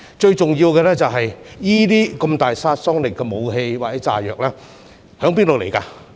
最重要的是，具有如此大殺傷力的武器或炸藥從何而來？